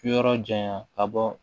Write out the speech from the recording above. Yɔrɔ janya ka bɔ